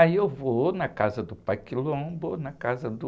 Aí eu vou na casa do pai, na casa do...